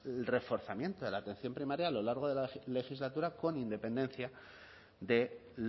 el reforzamiento de la atención primaria a lo largo de la legislatura con independencia de